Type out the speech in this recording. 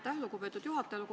Aitäh, lugupeetud juhataja!